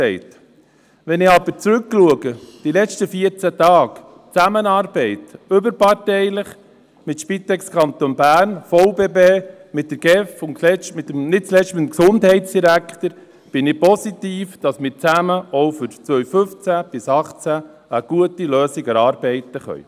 Wenn ich aber auf die letzten vierzehn Tage zurückschaue, auf die überparteiliche Zusammenarbeit mit der Spitex Kanton Bern, mit dem VBB, mit der GEF und nicht zuletzt mit dem Gesundheitsdirektor, bin ich zuversichtlich, dass wir auch für die Jahre 2015–2018 gemeinsam eine gute Lösung erarbeiten können.